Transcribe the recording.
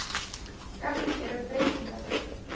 Gagngerar breytingar.